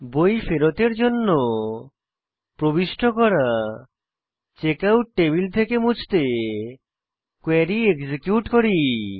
বই ফেরতের জন্য প্রবিষ্ট করা চেকআউট টেবিল থেকে মুছতে কোয়েরী এক্সিকিউট করি